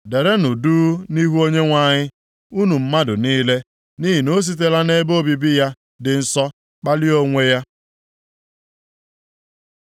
Derenụ duu nʼihu Onyenwe anyị, unu mmadụ niile, nʼihi na o sitela nʼebe obibi ya dị nsọ kpalie onwe ya.”